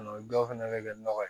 O dɔw fɛnɛ be kɛ nɔgɔ ye